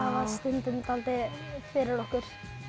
var stundum dálítið fyrir okkur